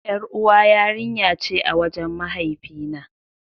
Yar'uwa yarinya ce a wajen mahaifi na.